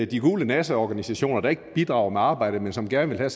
de gule nasseorganisationer der ikke bidrager med arbejdet men som gerne